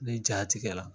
Ni ja tigɛra